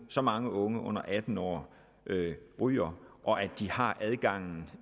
så mange unge under atten år ryger og at de har adgang